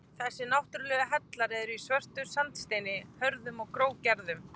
Þessir náttúrlegu hellar eru í svörtum sandsteini, hörðum og grófgerðum.